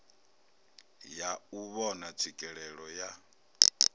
ya u vhona tswikelelo ya